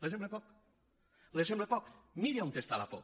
li sembla poc li sembla poc miri on està la por